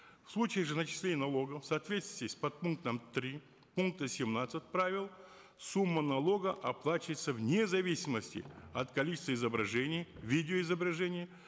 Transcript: в случае же начисления налогов в соответствии с подпунктом три пункта семнадцать правил сумма налога оплачивается вне зависимости от количества изображений видеоизображений